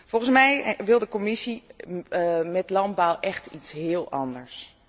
Volgens mij wil de Commissie met landbouw echt iets heel anders.